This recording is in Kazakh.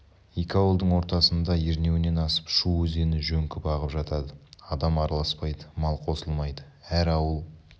екі ауылдың ортасыңда ернеуінен асып шу өзені жөңкіп ағып жатады адам араласпайды мал қосылмайды әр ауыл